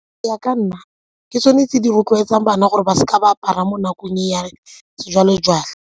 Go ya ka nna, ke tsone tse di rotloetsang bana gore ba seka ba apara mo nakong e ya sejwalejwale.